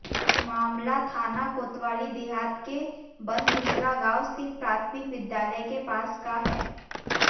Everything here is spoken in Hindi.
मामला थाना कोतवाली देहात के बनघुसरा गांव स्थित प्राथमिक विद्यालय के पास का है